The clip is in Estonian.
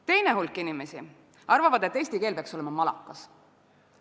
Teine hulk inimesi arvab, et eesti keel peaks olema malakas.